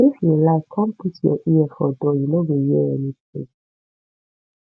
if you like come put your ear for door you no go hear anything